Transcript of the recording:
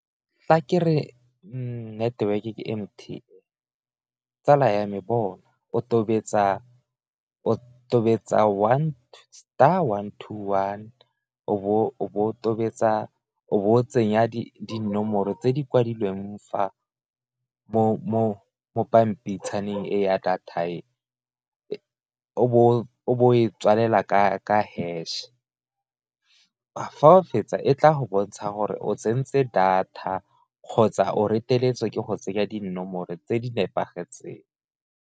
Fa ke re network ke M_T, tsala ya me bona o tobetsa star one to one o bo o tobetsa o bo tsenya dinomoro tse di kwadilweng fa mo pampitshana e ya data e o bo e tswalela ka hash, fa o fetsa e tla go bontsha gore o tsentse data kgotsa o reteletswe ke go tsenya dinomoro tse di nepagetseng.